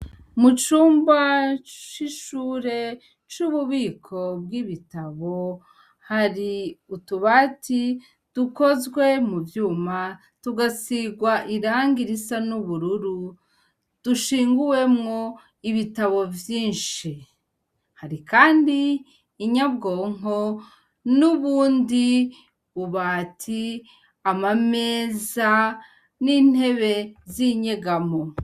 Mu cumba c'ishure c'ububiko bw'ibitabo hari utubati dukozwe mu vyuma tugasigwa irangi risa n'ubururu; dushinguwemo ibitabo vyinshi. Hari kandi inyabwonko n'ubundi bubati, amameza, n'intebe z'inyegamo.